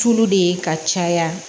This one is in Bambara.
Tulu de ye ka caya